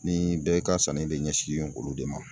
Ni bɛɛ ka sanni de ɲɛsinnen olu de ma.